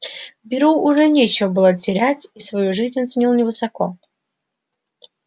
бару уже нечего было терять и свою жизнь он ценил невысоко